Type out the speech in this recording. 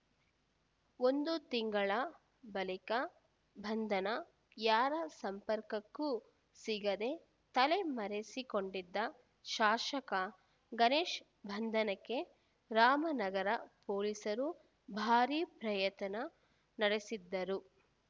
ಒಂದು ತಿಂಗಳ ಬಳಿಕ ಬಂಧನ ಯಾರ ಸಂಪರ್ಕಕ್ಕೂ ಸಿಗದೆ ತಲೆಮರೆಸಿಕೊಂಡಿದ್ದ ಶಾಸಕ ಗಣೇಶ್‌ ಬಂಧನಕ್ಕೆ ರಾಮನಗರ ಪೊಲೀಸರು ಭಾರೀ ಪ್ರಯತ್ನ ನಡೆಸಿದ್ದರು